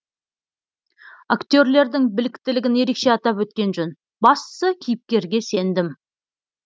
актерлердің біліктілігін ерекше атап өткен жөн бастысы кейіпкерге сендім